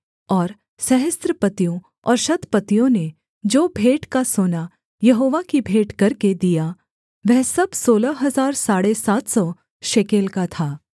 और सहस्त्रपतियों और शतपतियों ने जो भेंट का सोना यहोवा की भेंट करके दिया वह सब सोलह हजार साढ़े सात सौ शेकेल का था